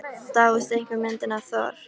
Dáist einkum að myndinni af Thor.